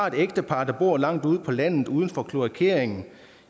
et ægtepar der bor langt ude på landet uden for kloakering